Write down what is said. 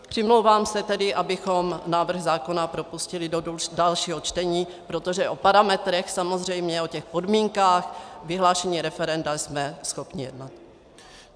Přimlouvám se tedy, abychom návrh zákona propustili do dalšího čtení, protože o parametrech samozřejmě, o těch podmínkách vyhlášení referenda, jsme schopni jednat.